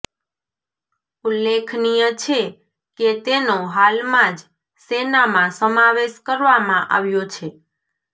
ઉલ્લેખનીય છે કે તેનો હાલમાં જ સેનામાં સમાવેશ કરવામાં આવ્યો છે